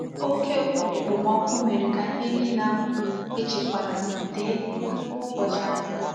Oke okpomoku mere ka ni nile ahu e chekwara dee tupu ubochi ahia.